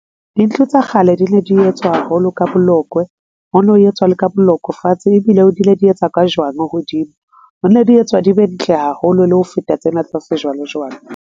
Dintlo tsa kgale di ne di etswa haholo ka bolokwe ho no etswa le ka bolokwe fatshe ebile di ne di etswa ka jwang hodimo ho ne di etswa di be ntle haholo le ho feta tsena tsa se jwale jwale.